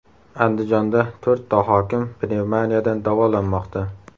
Andijonda to‘rtta hokim pnevmoniyadan davolanmoqda.